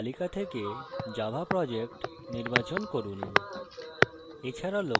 প্রকল্পের তালিকা থেকে java project নির্বাচন করুন